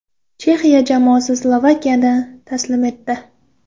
Chexiya jamoasi Slovakiyani taslim etdi.